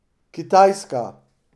Kitajska.